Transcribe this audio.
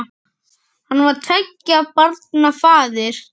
Hann var tveggja barna faðir.